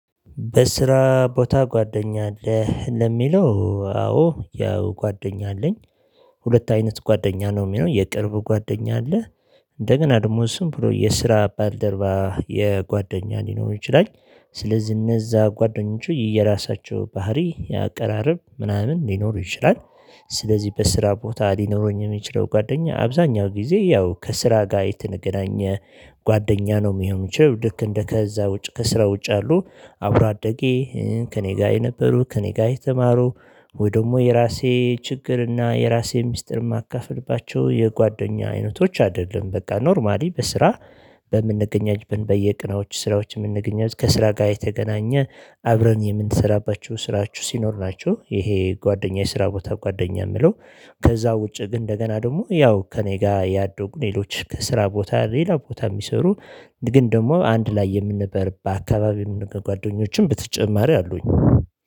በስራ ቦታ ጓደኛ አለህ ለሚለው አዎ ያው ጓደኛ አለኝ። ሁለት አይነት ጓደኛ ነው የሚለው የቅርብ ጓደኛ አለ። እንደገና ደግሞ ዝም ብሎ የስራ ባልደርባ የጓደኛ ሊኖር ይችላል። ስለዚህ እነዛ ጓደኞቼ የየራሳቸው ባህሪ የአቀራረብ ምናምን ሊኖሩ ይችላል። ስለዚህ በስራ ቦታ ሊኖረኝ የሚችለው ጓደኛ አብዛኛው ጊዜ ያው ከስራ ጋር የተገናኘ። ጓደኛ ነው የሚሆን የሚችለው ልክ እንደ ከዛ ውጭ ከስራ ውጭ ያሉ አብሮ አደጌ ከእኔ ጋር የነበሩ ከእኔ ጋር የተማሩ ወይ ደግሞ የራሴ ችግርና የራሴን ሚስጥር የማካፍልባቸው የጓደኛ አይነቶች አይደለም። በቃ ኖርማሊ በስራ በምንገናኝበት በየቀኖች። ከስራ ጋር የተገናኘ አብረን የምንሰራባችሁ ስራችው ሲኖር ናችሁ ይሄ ጓደኛዬ ስራ ቦታ ጓደኛ የምለው። ከዛ ውጪ ግን እንደገና ደግሞ ያው ከእኔ ጋር ያደጉ ሌሎች ከስራ ቦታ ሌላ ቦታ የሚሰሩ። ግን ደግሞ አንድ ላይ የምንበርበት አካባቢ ጓደኞችም በተጨማሪ አሉኝ